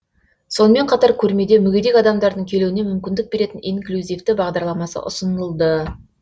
сонымен қатар көрмеде мүгедек адамдардың келуіне мүмкіндік беретін инклюзивті бағдарламасы ұсынылды